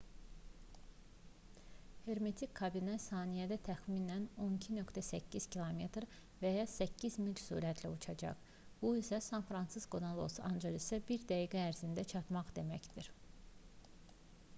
hermetik kabinə saniyədə təxminən 12,8 km və ya 8 mil sürətlə uçacaq bu isə san-fransiskodan los-ancelesə bir dəqiqə ərzində çatmaq deməkdir